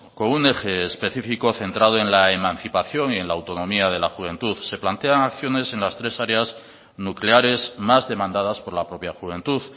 con un eje específico centrado en la emancipación y en la autonomía de la juventud se plantean acciones en las tres áreas nucleares más demandadas por la propia juventud